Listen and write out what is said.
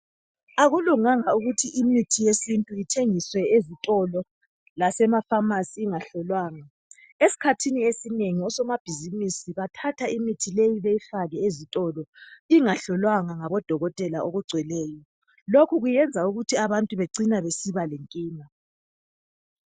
Akulunganga ukuthi imithi yesintu ithengiswe ezitolo lasemafamasi ingahlolwangwa, esikhathini esinengi osomabhizimusi bathatha imithi leyi beyifake ezitolo, ingahlolwangwa ngabodokotela okugcweleyo lokhu kuyenza abantu becine besiba lenkinga.